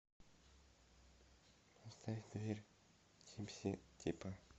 поставь дверь типси типа